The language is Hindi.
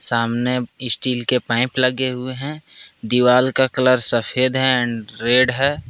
सामने स्टील के पाइप लगे हुए हैं दीवाल का कलर सफेद एंड रेड है।